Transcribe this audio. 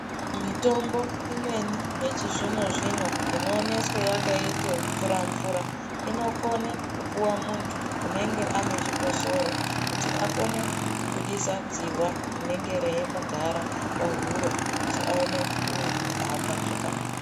Mitombo imweni yechizvino-zvino inooneswe yakaite mvura- mvura, inokone kupuwa muntu unenge ane chikosoro kuti akone kubudisa dzihwa rinenge reimugara pahuro, kuti aone kuhamba zvakanaka.